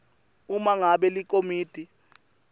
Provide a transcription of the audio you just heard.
uma ngabe likomiti